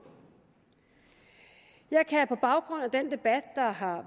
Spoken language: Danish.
jeg kan på baggrund af den debat der har